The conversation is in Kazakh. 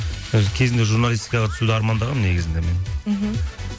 өзі кезінде журналистикаға түсуді армандағанмын негізінде мен мхм